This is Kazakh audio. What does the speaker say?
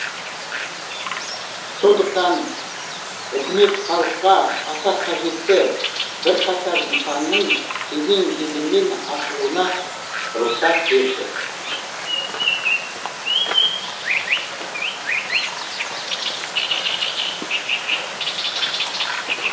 сондықтан үкімет халыққа аса қажетті бірқатар нысанның кезең кезеңмен ашылуына рұқсат берді